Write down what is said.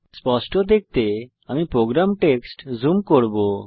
স্পষ্ট দেখতে আমি প্রোগ্রাম টেক্সট জুম করব